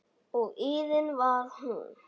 Og iðin var hún.